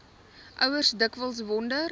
ouers dikwels wonder